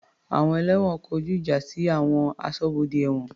Àwọn ẹlẹ́wọ̀n kọjú ìjà sí àwọn aṣọ́bodè ẹ̀wọ̀n.